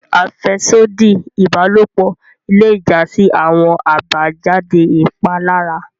Afẹsodi ibalopo le ja si awọn abajade ipalara.